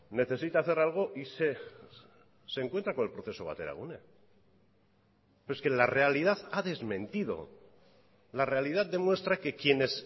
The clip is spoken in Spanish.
necesita hacer algo y se encuentra con el proceso bateragune pero es que la realidad ha desmentido la realidad demuestra que quienes